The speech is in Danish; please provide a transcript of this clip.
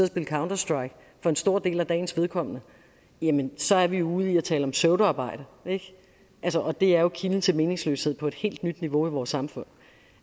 spille counter strike for en stor del af dagens vedkommende jamen så er vi ude i at tale om pseudoarbejde og det er jo kilden til meningsløshed på et helt nyt niveau i vores samfund